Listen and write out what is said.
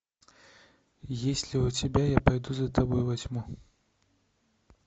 есть ли у тебя я пойду за тобой во тьму